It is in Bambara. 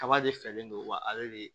Kaba de fɛlen don wa ale de